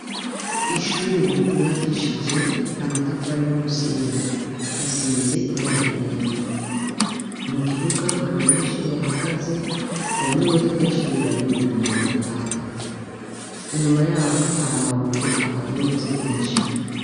Ishure ryubakishije namatafari umusenyi risize ibara ryera mukibuga hari abanyeshure bahagaze hari nimodoka yishure ibarindiriye ngo batahe inyuma yaho hari amabuye aharunze menshi